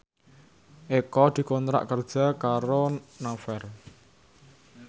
Eko dikontrak kerja karo Naver